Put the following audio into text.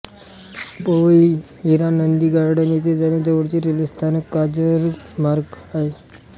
Powai Hiranandani garden येथे जाण्यास जवळचे रेल्वे स्थानक कांजुरमार्ग आहे